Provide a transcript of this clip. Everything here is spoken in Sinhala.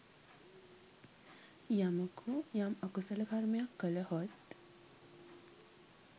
යමකු යම් අකුසල කර්මයක් කළහොත්